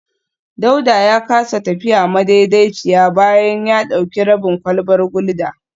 Dauda ya kasa tafiya madaidaiciya bayan ya dauki rabin kwalbar gulda